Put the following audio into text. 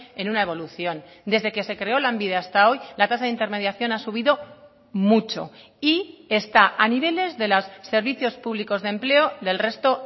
en una evolución desde que se creó lanbide hasta hoy la tasa de intermediación ha subido mucho y está a niveles de los servicios públicos de empleo del resto